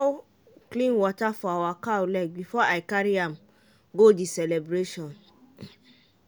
i pour clean water for our cow leg before i carry am go the celebration.